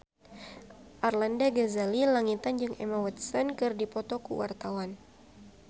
Arlanda Ghazali Langitan jeung Emma Watson keur dipoto ku wartawan